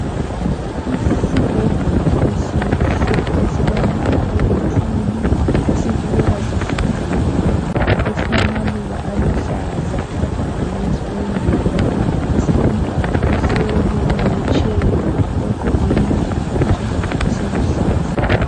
Isibhedlela esihle esilombala oluthuli esibukeka sihlanzekile .Esilamaluba aluhlaza agqagqele isibhedlela .Esilomntwana ohleli ku wheel chair ogqoke isigqoko esiluhlaza.